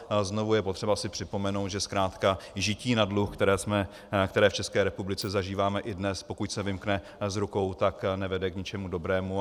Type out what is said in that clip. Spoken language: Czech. Znovu je potřeba si připomenout, že zkrátka žití na dluh, které v České republice zažíváme i dnes, pokud se vymkne z rukou, tak nevede k ničemu dobrému.